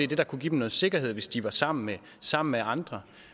det der kunne give dem noget sikkerhed i hvis de var sammen med sammen med andre